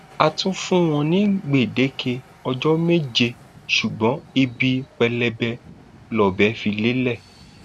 a tún fún wọn ní gbèdéke ọjọ méje ṣùgbọn ibi pẹlẹbẹ lọbẹ fi lélẹ